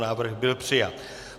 Návrh byl přijat.